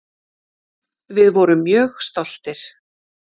Við vorum mjög stoltir.